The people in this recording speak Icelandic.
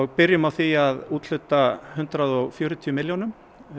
byrjum á því að úthluta hundrað og fjörutíu milljónum